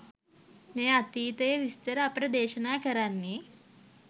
මේ අතීතයේ විස්තර අපට දේශනා කරන්නේ.